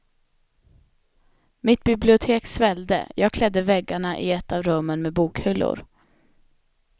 Mitt bibliotek svällde, jag klädde väggarna i ett av rummen med bokhyllor.